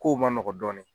Kow man nɔgɔn dɔɔnin